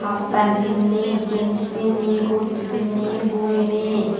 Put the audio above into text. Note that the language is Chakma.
hap pant pinni jeans pinni kurti pinni gurini.